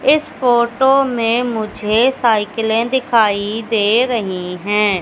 इस फोटो में मुझे साइकिले दिखाई दे रही है।